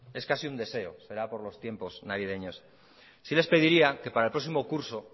es casi un deseo será por los tiempos navideños sí les pediría que para el próximo curso